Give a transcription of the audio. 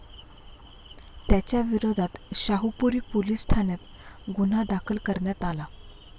त्याच्याविरोधात शाहूपुरी पोलीस ठाण्यात गुन्हा दाखल करण्यात आला.